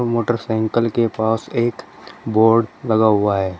Motorcycle के पास एक बोर्ड लगा हुआ है।